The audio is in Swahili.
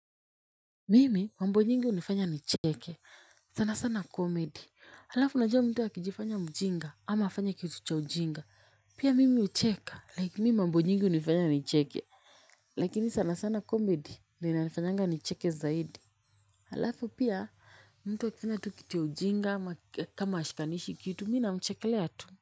Mimi mambo nyingi hunifanya nicheke sana sana comedy alafu unajua mtu akijifanya mjinga ama afanye kitu cha ujinga pia mimi hucheka like mimi mambo nyingi hunifanya nicheke. Lakini sana sana comedy ndio inanifanyanga nicheke zaidi alafu pia mtu akifanya tu kitu ya ujinga ama kama hashikanishi kitu mimi namchekelea tu.